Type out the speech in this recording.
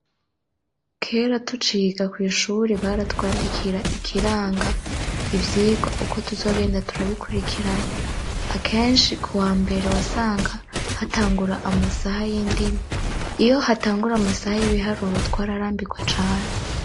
kera tuciga kw'ishure baratwandikira ikiranga ivyigwa uko tuzogenda turabikurikiranye ,akenshi ku wa mbere wasanga hatangura amasaha y'indimi ,iyo hatangura amasaha y'ibiharuro twararambirwa cane.